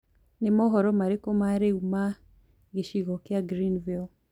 ni mohoro marĩkũ ma riu ma gicigo kia greenville